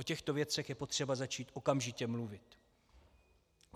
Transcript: O těchto věcech je potřeba začít okamžitě mluvit.